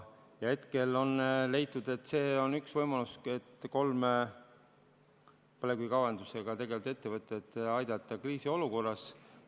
Hetkel on leitud, et see on üks võimalusi, et kolme põlevkivi kaevandamisega tegelevat ettevõtet kriisiolukorras aidata.